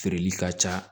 Feereli ka ca